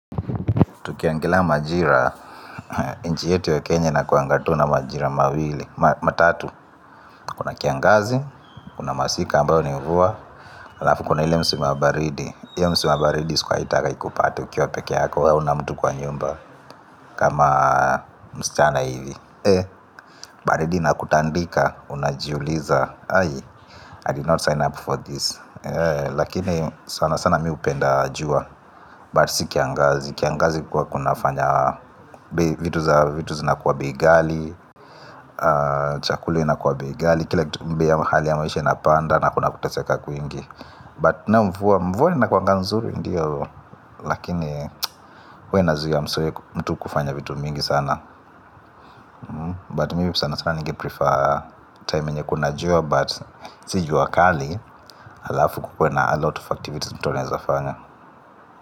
Tukiangalia majira nchi yetu ya kenya ina kuanga tu na majira mawili, Matatu. Kuna kiangazi. Kuna masika ambayo ni mvua alafu kuna ile msimu ya baridi hio msimu ya baridi usiwai itaka ikupate ukiwa peke yako hauna mtu kwa nyumba kama msichana hivi baridi inakutandika. Unajiuliza I did not sign up for this. Lakini sana sana mi hupenda jua But si kiangazi. Kiangazi kwa kunafanya vitu za vitu zina kuwa bei ghali chakuli ina kuwa bei ghali kila kitu ni bei hali ya maisha inapanda na kuna kuteseka kuingi but na mvua mvua ina kuanga nzuri ndio lakini huwa inazuia msee mtu kufanya vitu mingi sana but mimi sana sana nige prefer time yenye kuna jua but si jua kali alafu kukuwe na a lot of activities mtu anaeza fanya.